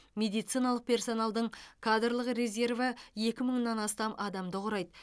медициналық персоналдың кадрлық резерві екі мыңнан астам адамды құрайды